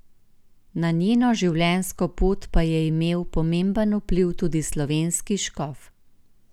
Na njeno življenjsko pot pa je imel pomemben vpliv tudi slovenski škof.